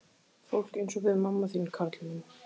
Fólk eins og við mamma þín, Karl minn.